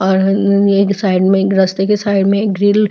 और एक साइड में रस्ते के साइड में ग्रिल --